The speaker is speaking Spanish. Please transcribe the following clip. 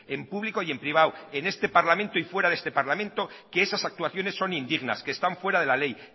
en público y en privado en este parlamento y fuera de este parlamento que esas actuaciones son indignas que están fuera de la ley